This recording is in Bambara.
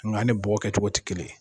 an ni bɔgɔ kɛ cogo tɛ kelen yen.